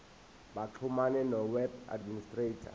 baxhumane noweb administrator